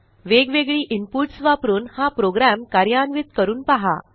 वेगवेगळी इनपुट्स वापरून हा प्रोग्रॅम कार्यान्वित करून पहा